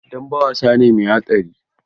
Dambe wasa ne mai haɗari.